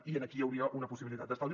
i aquí hi hauria una possibilitat d’estalvi